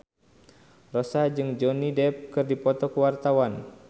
Rossa jeung Johnny Depp keur dipoto ku wartawan